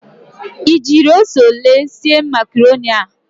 Ị jiri ose ole sie makaroni a?